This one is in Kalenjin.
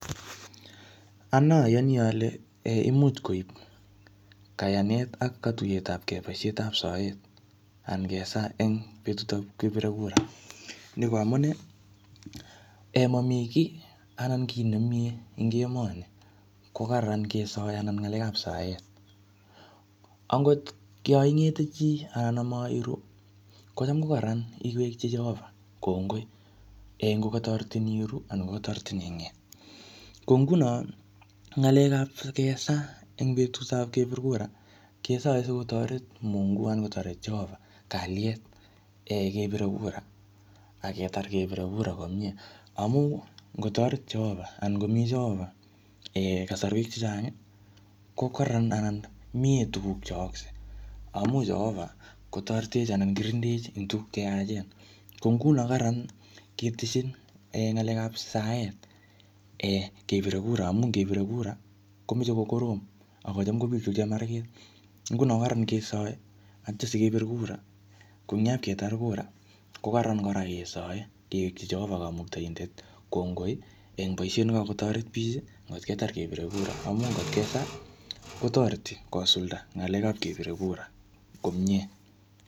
Anee ayani ale imuch koek kayanet ak katuyetabke boisiet tab soet angesa en betutap kibire kura nito amunee emami ki ko kararan ng'alekab saet . Angot ko yoon ing'ete chi anan imaeiru , missing ko kararan iwekyi cheova kokngoi en kokataretin iweru anan kotaretin iwe nge'et ko ngunon ng'alekab kesaa en betut tab kebir kura kesae sikotaret mungu anan sikotaret cheova kaliet en kebire kura ak aketar kebire kura komie amuun ngotaret cheoba anan ngomi cheova en kasarwek chechang ih ko kararan anan mi tukuk cheyaakse amuun cheova kotaretech anan kikindechi en tukuk cheyachen ko ngunon kararan ketesyi ng'alekab saet kebire kura amuun kebir kura kokorom akobitu chemarget ingunon kararan ingesae kebir kura ko yakaketar kura ih kokaranan kora kesae kewekchi cheova kongoi en boisiet nekatoret bik ih kot ketar kebir kura